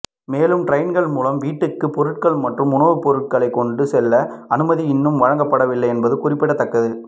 மேலும் டிரோன்கள் மூலம் வீடுகளுக்கு பொருட்கள் மற்றும் உணவுப்பொருட்களை கொண்டு செல்லும் அனுமதி இன்னும் வழங்கப்படவில்லை என்பது குறிப்பிடத்தக்கது